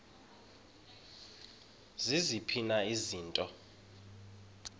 ziziphi na izinto